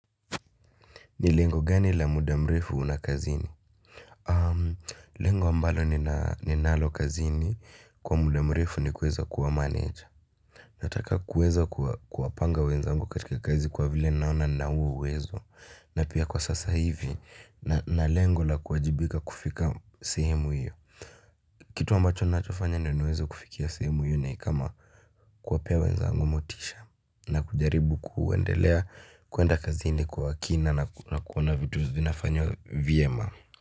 Ni lengo gani la muda mrefu una kazini? Lengo ambalo ninalo kazini kwa muda mrefu ni kuweza kuwa manager. Nataka kuweza kuwapanga wenzangu katika kazi kwa vile naona nina huo uwezo. Na pia kwa sasa hivi na lengo la kuwajibika kufika sehemu hiyo. Kitu ambacho nachofanya ndo niweze kufikia sehemu hiyo ni kama kuwapea wenzangu motisha. Na kujaribu kuendelea kuenda kazini kwa kina na kuona vitu zinafanywa vyema.